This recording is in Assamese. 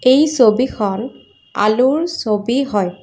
এই ছবিখন আলুৰ ছবি হয়।